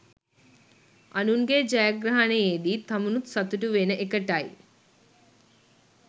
අනුන්ගේ ජයග්‍රහණයේදි තමනුත් සතුටු වෙන එකටයි